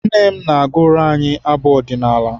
Nne m na-agụrụ anyị abụ ọdịnala.